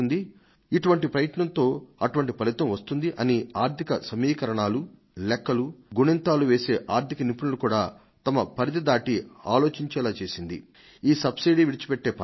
ఇటువంటి ప్రయత్నంలో అటువంటి ఫలితం వస్తుంది అని ఆర్థిక సమీకరణాలు లెక్కలు గుణింతాలు వేసే ఆర్థిక నిపుణులు కూడా తమ పరిధి దాటి ఆలోచించేలా చేసింది ఈ సబ్సిడీని విడిచిపెట్టే పర్వం